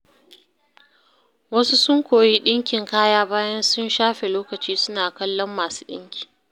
Wasu sun koyi ɗinkin kaya bayan sun shafe lokaci suna kallon masu ɗinki.